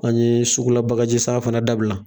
An ye sugula bagajisan fana dabila.